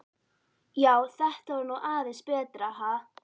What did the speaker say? Já, þetta var nú aðeins betra, ha!